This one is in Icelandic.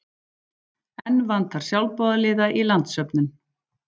Enn vantar sjálfboðaliða í landssöfnun